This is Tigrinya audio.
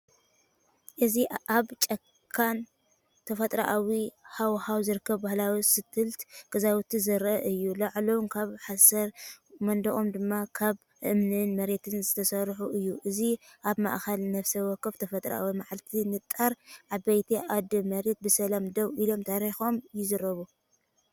እዚ ኣብ ጫካን ተፈጥሮኣዊ ሃዋህውን ዝርከቡ ባህላዊ ስቲልት ገዛውቲ ዘርኢ እዩ። ላዕሎም ካብ ሓሰር፡ መናድቖም ድማ ካብ እምንን መሬትን ዝተሰርሐ እዩ። እዚ ኣብ ማእከል ነፍሲ ወከፍ ተፈጥሮኣዊ መዓልቲ፡ ንጣር ኣባይቲ ኣደ መሬት ብሰላም ደው ኢሎም ታሪኾም ይዛረቡ።